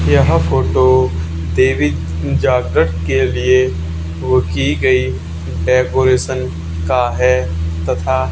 यह फोटो देवी जागरण के लिए वो की गई डेकोरेशन का है तथा--